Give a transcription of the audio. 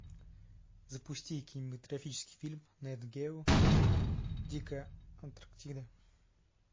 запусти кинематографический фильм нет гео дикая антарктида